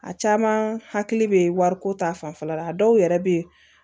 A caman hakili bɛ wariko ta fanfɛla la a dɔw yɛrɛ bɛ yen